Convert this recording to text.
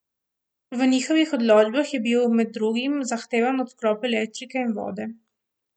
V njihovih odločbah je bil med drugim zahtevan odklop elektrike in vode.